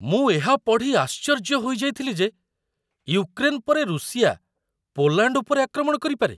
ମୁଁ ଏହା ପଢ଼ି ଆଶ୍ଚର୍ଯ୍ୟ ହୋଇଯାଇଥିଲି ଯେ ୟୁକ୍ରେନ୍ ପରେ ରୁଷିଆ ପୋଲାଣ୍ଡ ଉପରେ ଆକ୍ରମଣ କରିପାରେ।